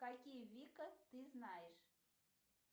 какие вика ты знаешь